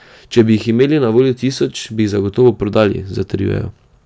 Če bi jih imeli na voljo tisoč, bi jih zagotovo prodali, zatrjujejo.